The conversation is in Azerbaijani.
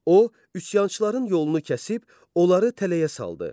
O üsyançıların yolunu kəsib, onları tələyə saldı.